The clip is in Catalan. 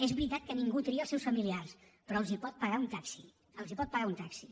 és veritat que ningú tria els seus familiars però els pot pagar un taxi els pot pagar un taxi